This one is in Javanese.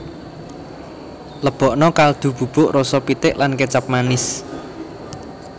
Lebokna kaldu bubuk rasa pitik lan kécap manis